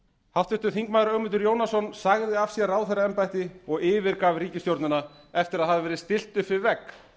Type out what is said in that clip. háttvirtur þingmaður ögmundur jónasson sagði af sér ráðherraembætti og yfirgaf ríkisstjórnina eftir að hafa verið stillt upp við vegg